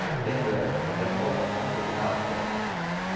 metendo ela, só que afoga a ponta do rabo dela.